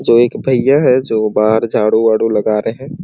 जो एक भैया है जो बाहर झाड़ू वाडू लगा रहै हैं।